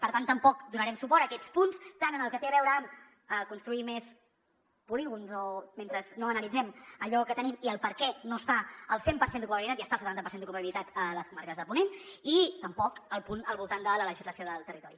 per tant tampoc donarem suport a aquests punts tant en el que té a veure amb construir més polígons mentre no analitzem allò que tenim i el perquè no està al cent per cent d’ocupabilitat i està al setanta per cent d’ocupabilitat a les comarques de ponent i tampoc al punt al voltant de la legislació del territori